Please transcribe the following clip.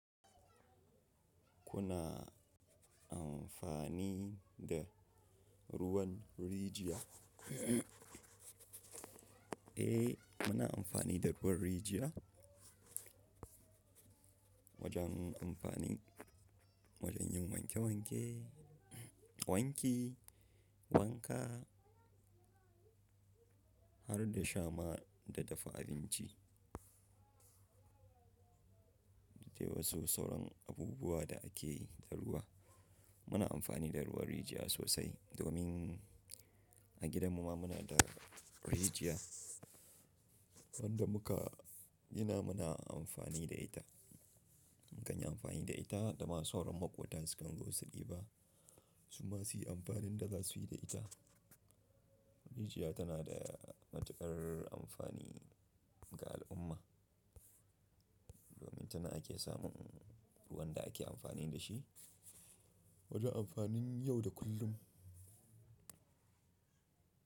Kuna amfani da ruwan rijiya? Eh, muna amfani da ruwan rijiya. Wajen amfanin, wajen yin wanke-wanke, wanki, wanka har da sha ma da dafa abinci. Da dai wasu sauran abubuwa da ake yi da ruwa. Muna amfani da ruwan rijiya sosai domin a gidanmu ma muna da rijiya. Wanda muka gina muna amfani da ita. Mukan yi amfani da ita da ma sauran maƙwabta sukan zo su diba. Su ma su yi amfanin da za su yi da ita. Rijiya tana da matuƙar amfani ga al'umma. Domin tana ake samun ruwan da ake amfani da shi. Wajen amfanin yau da kullum.